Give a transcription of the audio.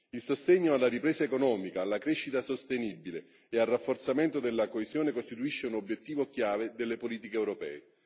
Il sostegno alla ripresa economica, alla crescita sostenibile e al rafforzamento della coesione costituisce un obiettivo chiave delle politiche europee.